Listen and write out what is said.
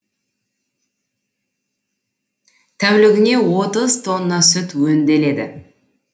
тәулігіне отыз тонна сүт өңделеді